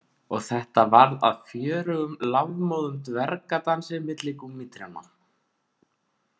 Og þetta varð að fjörugum lafmóðum dvergadansi milli gúmmítrjánna